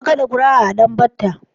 An gama kaɗa ƙura'a a Danbatta.